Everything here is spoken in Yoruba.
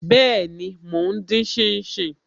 Be, mo ń din shin shin